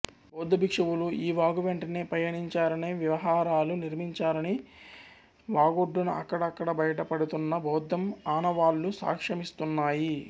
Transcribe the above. బౌద్ధ భిక్షువులు ఈ వాగు వెంటనే పయనించారనివిహారాలు నిర్మించారని వాగొడ్డున అక్కడక్కడ బయట పడుతున్న బౌద్ధం ఆనవాళ్ళు సాక్ష్య మిస్తున్నాయి